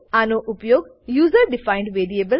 આનો ઉપયોગ user defined variable